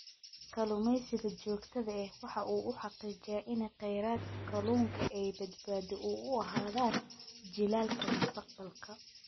Kalluumeysiga joogtada ahi waxa uu xaqiijiyaa in kheyraadka kalluunka ay badbaado u ahaadaan jiilalka mustaqbalka.